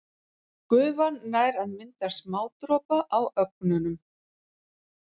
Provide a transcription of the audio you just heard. Gufan nær að mynda smádropa á ögnunum.